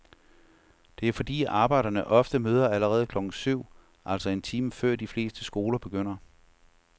Det er fordi arbejdere ofte møder allerede klokken syv, altså en time før de fleste skoler begynder.